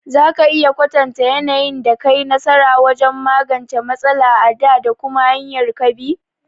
Za ka iya kwatanta yanayin da ka yi nasara wajen magance matsala a dā, da kuma hanyar ka bi?